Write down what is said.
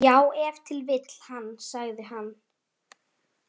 Já, ef til vill hann, sagði hann.